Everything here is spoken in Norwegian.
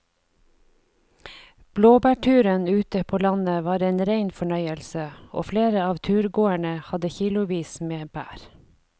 Blåbærturen ute på landet var en rein fornøyelse og flere av turgåerene hadde kilosvis med bær.